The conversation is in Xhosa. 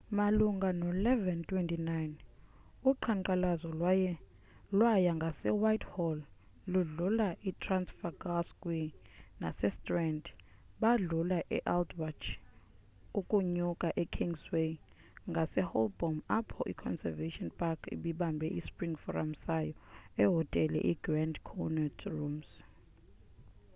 malunga no-11:29 uqhankqalazo lwaya ngasewhitehall ludlula etrafalgar square nasestrand badlula e-aldwaych ukunyuka ekingsway ngase holborn apho iconservative party ibibambe ispring forum sayo ehotele igrand connaught rooms